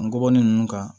Ngɔbɔnin ninnu kan